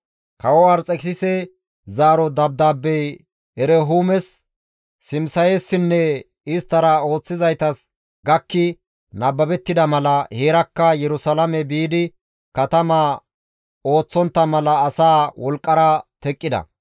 Kawo Arxekisise zaaro dabdaabbey Erehuumes, Simisayessinne isttara ooththizaytas gakki nababettida mala heerakka Yerusalaame biidi katama ooththontta mala asaa wolqqara teqqida.